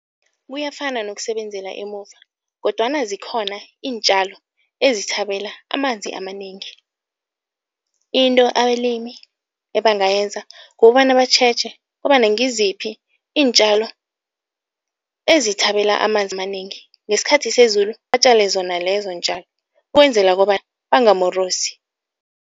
Kuyafana nokusebenzela emuva kodwana zikhona iintjalo ezithabela amanzi amanengi. Into abalimi ebangayenza kukobana batjheje kobana ngiziphi iintjalo ezithabela amanzi amanengi, ngesikhathi sezulu batjale zona lezo ntjalo ukwenzela kobana bangamorosi.